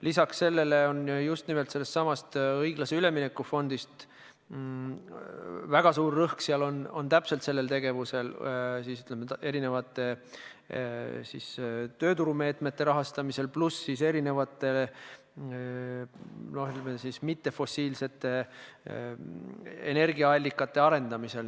Lisaks sellele on just nimelt sellesama õiglase ülemineku fondi puhul väga suur rõhk just sellel tegevusel, ütleme, erinevate tööturumeetmete rahastamisel pluss siis erinevate mittefossiilsete energiaallikate arendamisel.